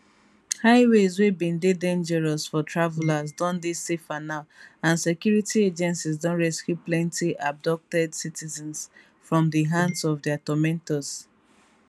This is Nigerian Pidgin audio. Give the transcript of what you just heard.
highways wey bin dey dangerous for travellers don dey safer now and security agencies don rescue plenty abducted citizens from di hands of dia tormentors